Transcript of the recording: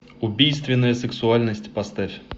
убийственная сексуальность поставь